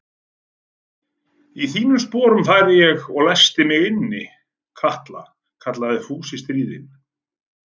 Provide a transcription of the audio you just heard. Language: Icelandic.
Í þínum sporum færi ég og læsti mig inni, Kata kallaði Fúsi stríðinn.